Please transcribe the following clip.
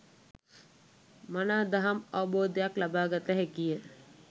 මනා දහම් අවබෝධයක් ලබා ගත හැකිය.